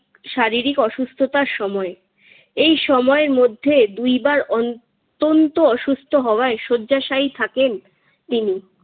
শারিরীক অসুস্থতার সময়। এই সময়ের মধ্যে দুইবার অনতন্ত অসুস্থ হওয়ায় শয্যাশায়ী থাকেন তিনি।